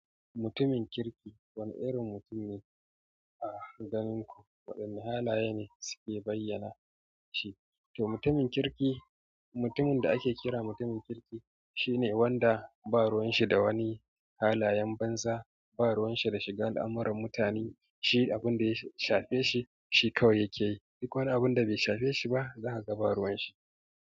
Mutumin kirki wani irin mutun ne a don waɗanne halaye ne suke bayyana shi? To mutumin kirki, mutumin da ake kira mutumin kirki shine wanda ba ruwan shi da wani halayen banza. Ba ruwan shi da shiga al'amuran mutane, shi abunda ya shafe shi, shi kawai yake yi. Duk wani abinda bai shafe shi ba, zaka ga ba ruwan shi.